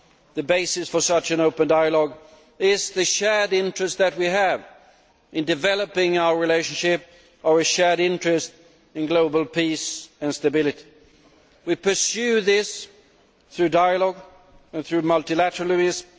The basis for such an open dialogue is the shared interest that we have in developing our relationship, our shared interest in global peace and stability. We pursue this through dialogue and through multilateralism.